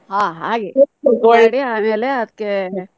ಹಾ ಹಾಗೆ. ಆಮೇಲೆ ಅದ್ಕೆ.